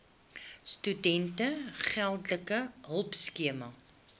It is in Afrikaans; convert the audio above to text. studente geldelike hulpskema